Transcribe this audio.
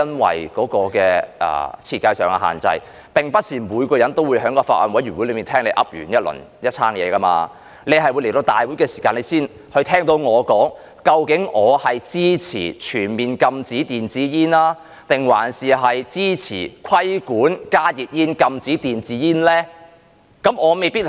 此外，基於設計上的限制，並不是每個人都能在法案委員會聽到我發表的意見，你可能在立法會會議上才聽到我說，例如究竟我支持全面禁止電子煙，還是支持規管加熱煙、禁止電子煙呢？